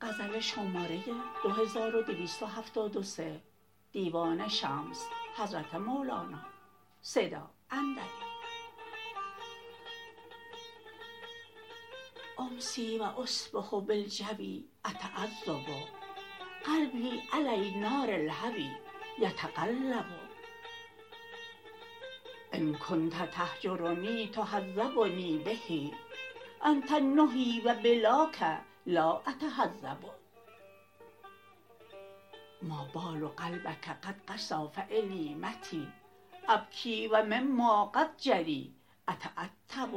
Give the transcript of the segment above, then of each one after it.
امسی و اصبح بالجوی اتعذب قلبی علی نار الهوی یتقلب ان کنت تهجرنی تهذبنی به انت النهی و بلاک لا اتهذب ما بال قلبک قد قسا فالی متی ابکی و مما قد جری اتعتب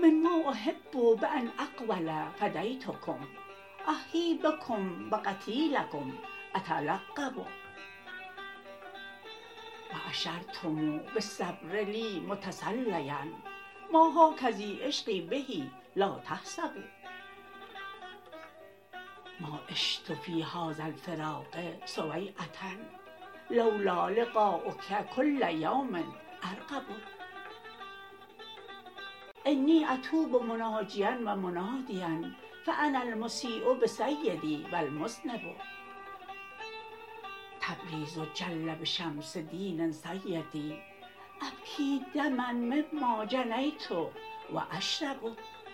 مما احب بان اقول فدیتکم احیی بکم و قتیلکم اتلقب و اشرتم بالصبر لی متسلیا ما هکذی عشقی به لا تحسبوا ما عشت فی هذا الفراق سویعه لو لا لقایک کل یوم ارقب انی اتوب مناجیا و منادیا فانا المسیء بسیدی و المذنب تبریز جل به شمس دین سیدی ابکی دما مما جنیت و اشرب